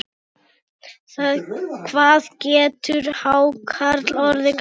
Hvað getur hákarl orðið gamall?